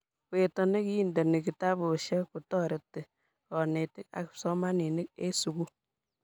weto nekinteni kitabusiek kotoreti konetik ak kipsomaninik en sukul